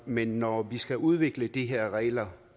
men når vi skal udvikle de her regler